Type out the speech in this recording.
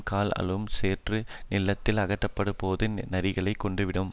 கால் ஆழும் சேற்று நில்த்தில் அகப்பட்ட போது நரிகள் கொன்றுவிடும்